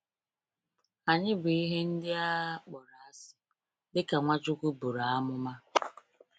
Anyị bụ “ihe ndị a kpọrọ asị,” dịka Nwachukwu buru amụma.